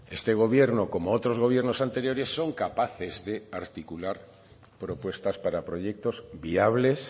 este gobierno como otros gobiernos anteriores son capaces de articular propuestas para proyectos viables